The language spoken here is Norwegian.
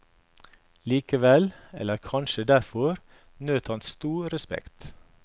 Likevel, eller kanskje derfor, nøt han stor respekt.